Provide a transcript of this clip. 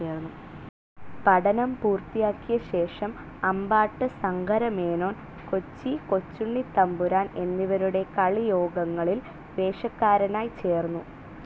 പഠനം പൂർത്തിയാക്കിയശേഷം അമ്പാട്ട് സങ്കരമേനോൻ കൊച്ചി കൊച്ചുണ്ണിത്തമ്പുരാൻ എന്നിവരുടെ കളിയോഗങ്ങളിൽ വേഷക്കാരനായി ചേർന്നു